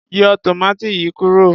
Yọ tòmátì yìí kúrò.